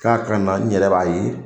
K'a ka na n yɛrɛ b'a ye.